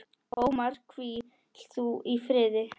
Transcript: Ómar, hvíl þú í friði.